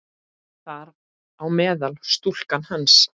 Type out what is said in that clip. Þar á meðal stúlkan hans.